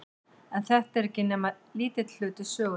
En þetta er ekki nema lítill hluti sögunnar.